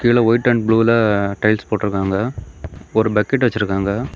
கீழ white and ப்ளூல tiles போட்டுருக்காங்க. ஒரு பக்கெட் வச்சிருக்காங்க.